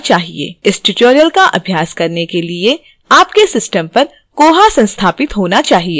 इस tutorial का अभ्यास करने के लिए आपके system पर koha संस्थापित होना चाहिए